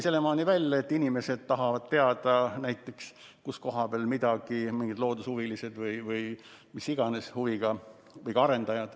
Selleni välja, et inimesed tahavad näiteks teada, kus koha peal midagi on, on nad siis mingid loodushuvilised või mis iganes huviga inimesed või ka arendajad.